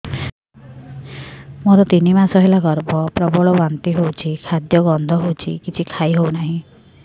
ମୋର ତିନି ମାସ ହେଲା ଗର୍ଭ ପ୍ରବଳ ବାନ୍ତି ହଉଚି ଖାଦ୍ୟ ଗନ୍ଧ ହଉଚି କିଛି ଖାଇ ହଉନାହିଁ